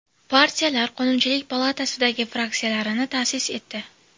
Partiyalar Qonunchilik palatasidagi fraksiyalarini ta’sis etdi.